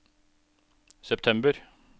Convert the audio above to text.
september